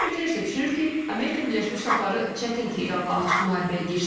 Ekspertlər isə düşünür ki, Amerika Birləşmiş Ştatları çətin ki İranla açıq müharibəyə girsin.